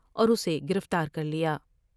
اور اسے گرفتار کرلیا ۔